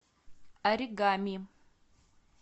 оригами